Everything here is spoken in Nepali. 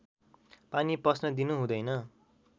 पानी पस्न दिनु हुँदैन